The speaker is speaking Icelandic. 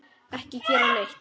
Ekki gera neitt.